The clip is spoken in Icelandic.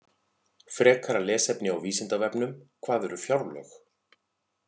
Frekara lesefni á Vísindavefnum: Hvað eru fjárlög?